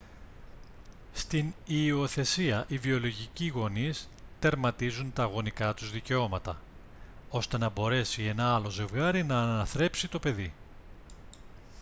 στην υιοθεσία οι βιολογικοί γονείς τερματίζουν τα γονικά τους δικαιώματα ώστε να μπορέσει ένα άλλο ζευγάρι να αναθρέψει το παιδί